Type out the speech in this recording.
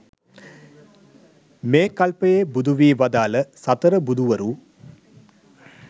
මේ කල්පයේ බුදු වී වදාළ සතර බුදුවරු